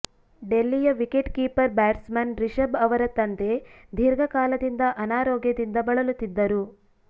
ಡೆಲ್ಲಿಯ wicket keeper batsman Rishabh ಅವರ ತಂದೆ ದೀರ್ಘಕಾಲದಿಂದ ಅನಾರೋಗ್ಯದಿಂದ ಬಳಲುತ್ತಿದ್ದರು